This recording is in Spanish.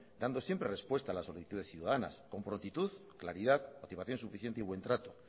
dando siempre respuesta a las solicitudes ciudadanas con prontitud claridad motivación suficiente y buen trato